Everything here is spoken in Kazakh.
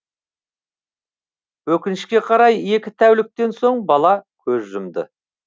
өкінішке қарай екі тәуліктен соң бала көз жұмды